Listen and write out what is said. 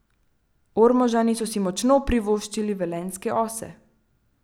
Ormožani so si močno privoščili velenjske ose!